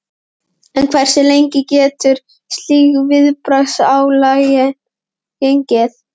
En hversu lengi getur slík viðbragðsáætlun gengið?